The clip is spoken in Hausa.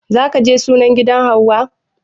Za ka je sunan gidan hauwa?